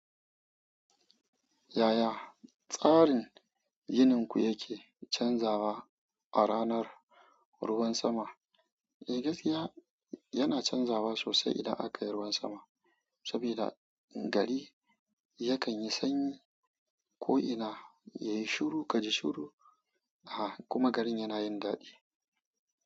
Yaya tsarin yininku yake canzawa a ranar ruwan sama? Eh gaskiya yana canzawa sosai idan aka yi ruwan sama. Saboda gari yakan yi sanyi ko'ina yayi shuru kaji shuru. Ah kuma garin yana yin daɗi.